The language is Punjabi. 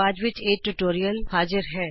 ਡੈਜ਼ੀਕ੍ਰਿਊ ਸੋਲੂਸ਼ਨਜ਼ ਵੱਲੋ ਨਮਸਕਾਰ